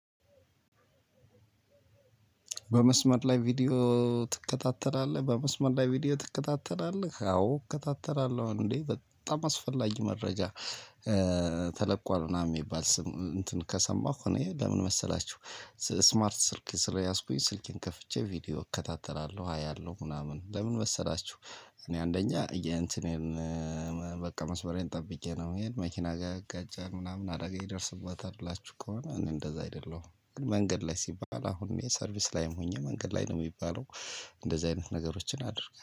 በመስመር ላይ ቪዲዮ ትከታተላለህ? በመስመር ላይ ቪዲዮ ትከታተላለህ? አዎ እከታተላለሁ? እንዴ በጣም አስፈላጊ መረጃ ተለቋል ምናምን የሚባል ስም እንትን ከሰማሁ እኔ ለምን መሰላችሁ ስማርት ስልክ ስለያዝኩኝ ስልኬን ከፍቼ ቪዲዮ እከታተላለሁ፣ አያለሁ ምናምን ለምን መሰላችሁ እኔ አንደኛ የእንትኔን በቃ መስመሬን ጠብቄ ነው ምሄድ። የመኪና ጋር ይጋጫል ምናምን አደጋ ይደርስበታል ብላችሁ ከሆነ እኔ እንደዛ አይደለሁም። ግን መንገድ ላይ ሲባል አሁን እኔ ሰርቪስ ላይም ሆኜ መንገድ ላይ ነው የሚባለው። እንደዚህ አይነት ነገሮችን አድርገን